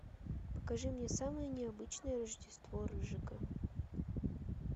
покажи мне самое необычное рождество рыжика